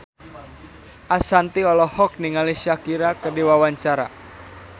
Ashanti olohok ningali Shakira keur diwawancara